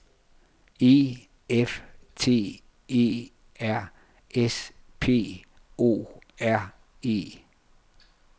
E F T E R S P O R E